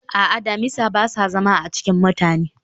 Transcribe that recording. a'a, damisa ba sa zama a cikin mutane